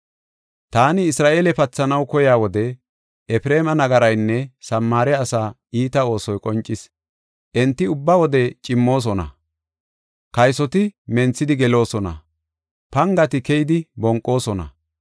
“Taani Isra7eele pathanaw koyiya wode Efreema nagaraynne Samaare asaa iita oosoy qoncis. Enti ubba wode cimmoosona; kaysoti menthidi geloosona; pangati keyidi bonqoosona.